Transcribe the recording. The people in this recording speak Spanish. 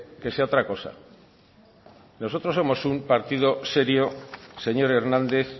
que sea otra cosa nosotros somos un partido serio señor hernández